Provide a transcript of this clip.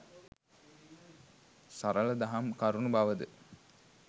සරළ දහම් කරුණු බවද